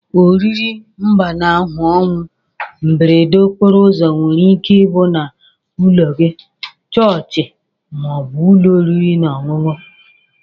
Oriri mgbanahu onwu mberede okporo ụzọ nwere ike ibu na ụlọ gi, chọọchi ma obu ụlọ oriri na ọnyụnyụ.